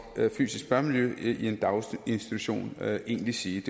fysisk børnemiljø i en daginstitution egentlig sige